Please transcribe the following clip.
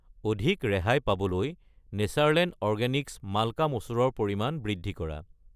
অধিক ৰেহাই পাবলৈ নেচাৰলেণ্ড অৰগেনিক্ছ মাল্কা মচুৰ ৰ পৰিমাণ বৃদ্ধি কৰা।